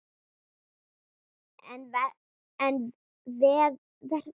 En verður hann aldrei saddur?